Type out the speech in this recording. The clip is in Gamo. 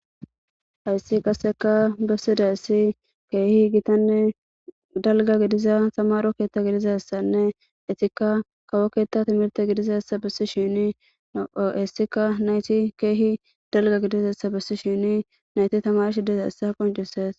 hayssi qasseka bessida essi keehi gitanne dalga gidiza samaro keetta gidizassanne etikka kawo keetta timirte gidizassa bessi shiini oheessika nayti keehi dalga gidizessa bessi shini nayti tamarshidiza essa qoncises